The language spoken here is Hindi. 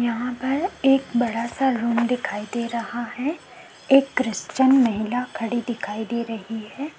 यहाँ पर एक बड़ा-सा रूम दिखाई दे रहा है एक क्रिश्चियन महिला खड़ी दिखाई दे रही है